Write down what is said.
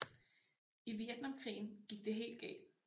I Vietnamkrigen gik det helt galt